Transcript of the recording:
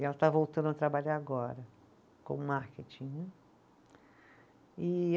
E ela está voltando a trabalhar agora com marketing, né. E